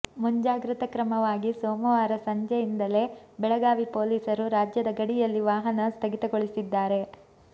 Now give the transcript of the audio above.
ಮುಂಜಾಗ್ರತಾ ಕ್ರಮವಾಗಿ ಸೋಮವಾರ ಸಂಜೆಯಿಂದಲೇ ಬೆಳಗಾವಿ ಪೊಲೀಸರು ರಾಜ್ಯದ ಗಡಿಯಲ್ಲಿ ವಾಹನ ಸ್ಥಗಿತಗೊಳಿಸಿದ್ದಾರೆ